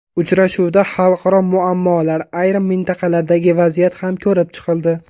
Uchrashuvda xalqaro muammolar, ayrim mintaqalardagi vaziyat ham ko‘rib chiqildi.